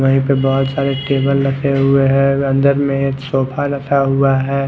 V पे बहोत सारे टेबल रखे हुए है अंदर में एक सोफा रखा हुआ है।